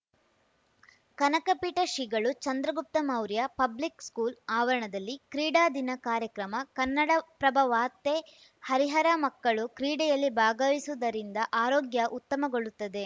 ಕನಕ ಪೀಠ ಶ್ರೀಗಳು Chandragupta Maurya public school ಆವರಣದಲ್ಲಿ ಕ್ರೀಡಾ ದಿನ ಕಾರ್ಯಕ್ರಮ ಕನ್ನಡಪ್ರಭ ವಾರ್ತೆ ಹರಿಹರ ಮಕ್ಕಳು ಕ್ರೀಡೆಯಲ್ಲಿ ಭಾಗವಹಿಸುವುದರಿಂದ ಆರೋಗ್ಯ ಉತ್ತಮಗೊಳ್ಳುತ್ತದೆ